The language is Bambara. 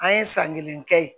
An ye san kelen kɛ yen